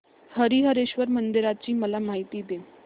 हरीहरेश्वर मंदिराची मला माहिती दे